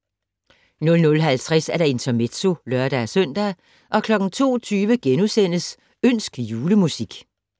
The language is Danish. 00:50: Intermezzo (lør-søn) 02:20: Ønsk julemusik *